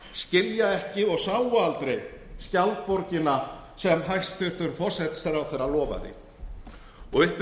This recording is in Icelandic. skilja ekki og sáu aldrei skjaldborgina sem hæstvirtur forsætisráðherra lofaði og upp